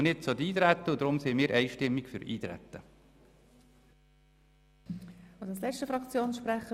Deshalb sind wir einstimmig für das Eintreten.